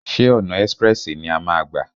Ṣé ọ̀nà ẹ́sprẹ̀sì ni a máa a gbà?